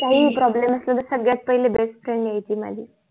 काही ही PROBLEM असलं तर सगळ्यात पहिल्या BEST FRIEND यायची माझी